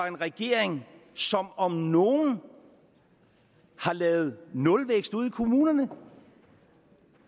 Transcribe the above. en regering som om nogen har lavet nulvækst ude i kommunerne